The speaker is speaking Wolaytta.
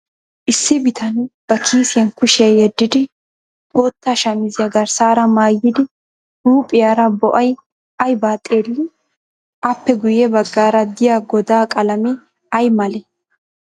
Issi bitanee ba kiisiyan kushiya yeddidi pootta shamiziya garssaara maayidi huuphiyaara bo'ay ayibaa xeellii? Aappe guyye baggaara diya godaa qalamee ayi malee?